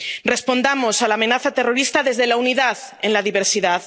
Respondamos a la amenaza terrorista desde la unidad en la diversidad.